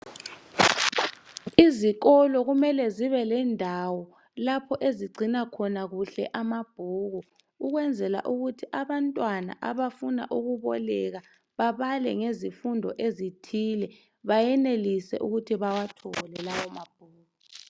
Izikolo kumele zibelendawo lapho ezigcina khona kuhle amabhuku ukwenzela ukuthi abantwana abafuna ukuboleka babale ngezifundo ezithile bayenelise ukuthi bawafunde lawo mabhuku.